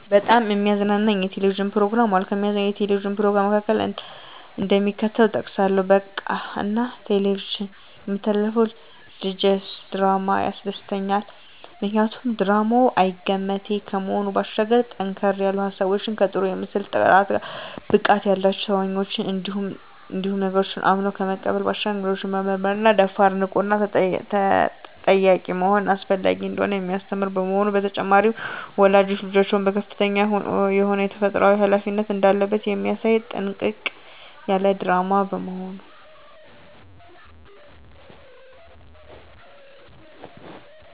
በጣም የሚያዝናኑኝ የ"ቴሌቪዥን" ፕሮግራሞች አሉ፣ ከሚያዝናናኝ የ"ቴሌቪዥን" "ፕሮግራም" መካከል፣ እደሚከተለው እጠቅሳለሁ በቃና "ቴሌቪዥን" የሚተላለፈው ልጀስ ድራማ ያስደስተኛል። ምክንያቱ ድራማው አይገመቴ ከመሆኑ ባሻገር ጠንከር ያሉ ሀሳቦች ከጥሩ የምስል ጥራት፣ ብቃት ያላቸው ተዋናኞች እንዲሁም ነገሮችን አምኖ ከመቀበል ባሻገር ነገሮችን መመርመርና ደፋር፣ ንቁና ጠያቂ መሆን አስፈላጊ እንደሆነ የሚያስተምር በመሆኑ። በተጨማሪም ወላጅ ልጆቹ ከፍተኛ የሆነ ተፈጥሮአዊ ሀላፊነት እንዳለበት የሚያሳይ ጥንቅቅ ያለ ድራማ በመሆኑ።